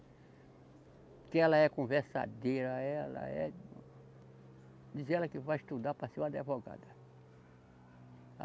Porque ela é conversadeira, ela é. Diz ela que vai estudar para ser uma advogada.